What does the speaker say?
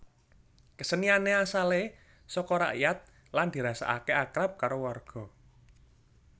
Keseniané asalé soko rakyat lan dirasakake akrab karo warga